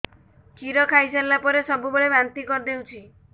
କ୍ଷୀର ଖାଇସାରିଲା ପରେ ସବୁବେଳେ ବାନ୍ତି କରିଦେଉଛି